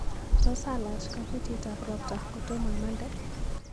Tos alach kabutit ab ropta kotomo amande?